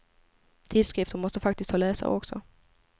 Tidskrifter måste faktiskt ha läsare också.